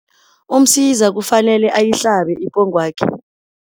UMsiza kufanele ayihlabe ipongwakhe.